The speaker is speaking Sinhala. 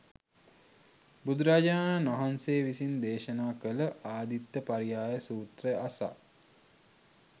බුදුරජාණන් වහන්සේ විසින් දේශනා කළ ආදිත්ත පරියාය සූත්‍රය අසා